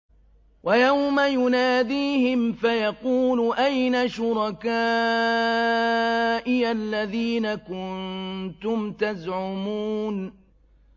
وَيَوْمَ يُنَادِيهِمْ فَيَقُولُ أَيْنَ شُرَكَائِيَ الَّذِينَ كُنتُمْ تَزْعُمُونَ